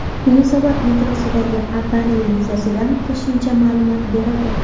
Yunusobod metrosidagi avariya yuzasidan qo‘shimcha ma’lumot berildi.